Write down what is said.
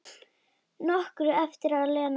Nokkru eftir að Lena kom.